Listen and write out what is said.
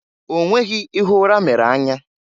Onweghi ihe ụra mere anya.